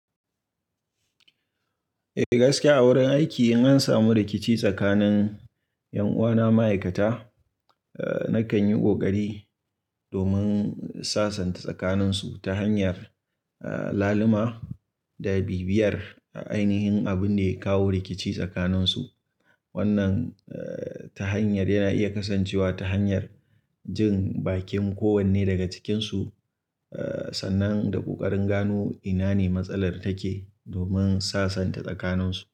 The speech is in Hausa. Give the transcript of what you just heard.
Eh gaskiya a wurin aiki in an samu rikici tsakanin, ƴan uwana ma'aikata, eh nakan yi ƙoƙari domin in sasanta tsakaninsu, ta hanyar eh lalima, da bibiyar ainihin abun da ya kawo rikici tsakaninsu. Wannan eh ta hanyar yana iya kasancewa ta hanyar jin bakin kowanne daga cikinsu, eh sannan da ƙoƙarin gano ina ne matsalar take, domin sasanta tsakaninsu.